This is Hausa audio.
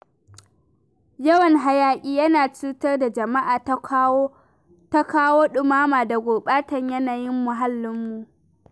Yawan hayaƙi yana cutar da jama'a ta kawo ɗumama da gurɓatar yanayin muhallinmu.